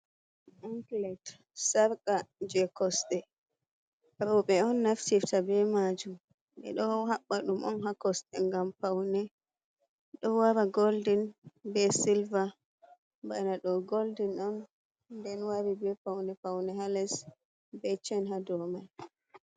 Anclet sarqa je kosɗe ruɓe on nafcifta be majum, ɓe ɗo haɓɓa ɗum on ha kosɗe gam paune, ɗo wara golden be silbar, bana do golden on nden wari be paune paune hales be chen ha do man.